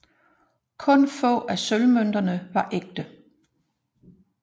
Kun få af sølvmønterne var ægte